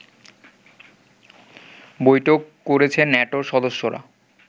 বৈঠক করেছে নেটোর সদস্যরা